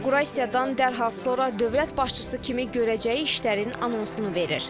İnaqurasiyadan dərhal sonra dövlət başçısı kimi görəcəyi işlərin anonsunu verir.